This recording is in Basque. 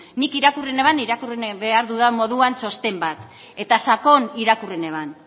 nik irakurri neban irakurri behar dudan moduan txosten bat eta sakon irakurri neban